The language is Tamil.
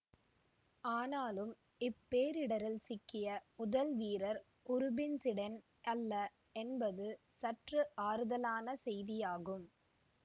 ஆனாலும் இப்பேரிடரில் சிக்கிய முதல் வீரர் உரூபின்சிடென் அல்ல என்பது சற்று ஆறுதலான செய்தியாகும்